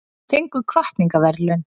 Fengu hvatningarverðlaun